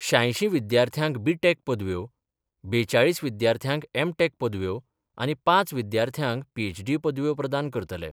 श्यांयशी विद्यार्थ्यांक बीटॅक पदव्यो, बेचाळीस विद्यार्थ्यांक एमटॅक पदव्यो आनी पांच विद्यार्थ्यांक पीएचडी पदव्यो प्रदान करतले.